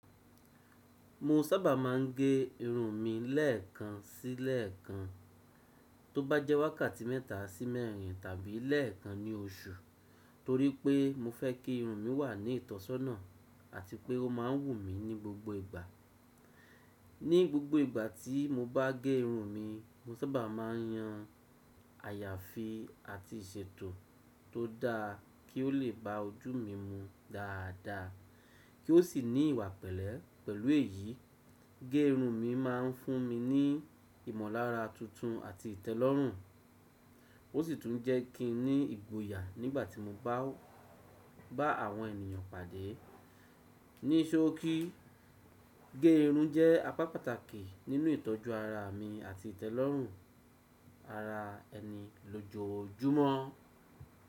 Mọ sábà máà ń gé irun mi lẹ́ẹ̀kan sí lẹ́ẹ̀kan, tó bá jẹ́ wákàtí mẹ́ta sí mẹ́rin tàbí lẹ́ẹ̀kan ní oṣù torí pé mo fẹ́ kí irun mi wà ní ìtọ́sọ́nà àti pé ó máa ń wùmí ní gbogbo ìgbà. Ní gbogbo ìgbà tí mo bá gé irun mi, mọ sábà máa ń yan àyàfi àti ṣètò tó dáa kí ó lè bá ojú mi mu dáadáa kí ó sì ní ìwà pẹ̀lẹ́. Pẹ̀lú èyí, gé irun mi máa ń fún mi ní ìmọ̀lára tuntun àti ìtẹ́lọ́rùn, ó ṣì tún jẹ́ kí n ní ìgboyà nígbàtí mo bá, bá àwọn ènìyàn pàdé. Ní ṣọ̀ọ̀kí, gé irun jẹ́ àpá pàtàkì nínú ìtọ́jú ara mi àti ìtẹ́lọ́rùn ara ẹni lójoojúmọ́.